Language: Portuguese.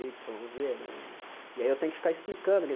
Ípsilon zê né e e aí eu tenho que ficar explicando. que